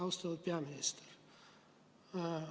Austatud peaminister!